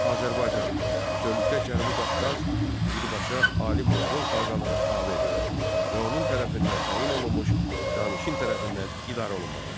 Azərbaycan, bütövlükdə Cənubi Qafqaz birbaşa ali monqol xaqanına tabe edildi və onun tərəfindən təyin olunmuş canişin tərəfindən idarə olunmağa başladı.